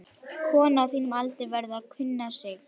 Kona á þínum aldri verður að kunna sig.